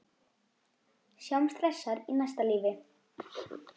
Sjáumst hressar í næsta lífi.